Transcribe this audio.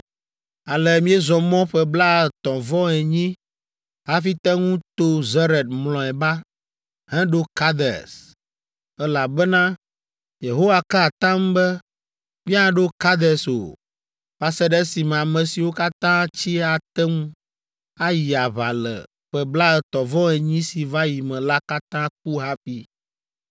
“Ale míezɔ mɔ ƒe blaetɔ̃-vɔ-enyi hafi te ŋu to Zered mlɔeba, heɖo Kades, elabena Yehowa ka atam be míaɖo Kades o, va se ɖe esime ame siwo katã tsi ate ŋu ayi aʋa le ƒe blaetɔ̃-vɔ-enyi si va yi me la katã ku hafi.